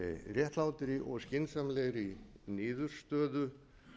réttlátri og skynsamlegri niðurstöðu